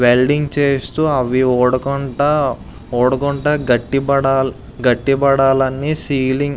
Welding చేస్తూ అవి ఊడకుండా ఊడకుండా గట్టిపడాలి గట్టిపడాలని సీలింగ్ .